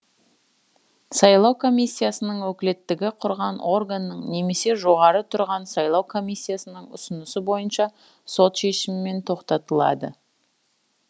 сайлау комиссиясының өкілеттігі құрған органның немесе жоғары тұрған сайлау комиссиясының ұсынысы бойынша сот шешімімен тоқтатылады